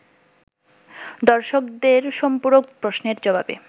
দর্শকদের সম্পূরক প্রশ্নের জবাবে